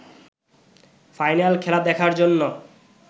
final খেলা দেখার জন্য